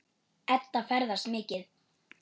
Edda ferðast mikið.